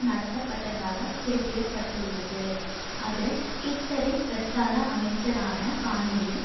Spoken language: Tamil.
நடத்தப்பட்டதாக குறிப்பிட்டுள்ளது அது கிட்லரின் பிரச்சார அமைச்சரான பாணியில்